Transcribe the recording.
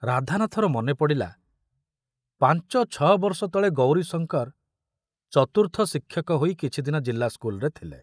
ରାଧାନାଥର ମନେ ପଡ଼ିଲା ପାଞ୍ଚ ଛଅ ବର୍ଷ ତଳେ ଗୌରୀଶଙ୍କର ଚତୁର୍ଥ ଶିକ୍ଷକ ହୋଇ କିଛିଦିନ ଜିଲ୍ଲା ସ୍କୁଲରେ ଥିଲେ।